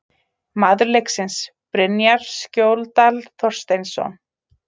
Maður leiksins: Brynjar Skjóldal Þorsteinsson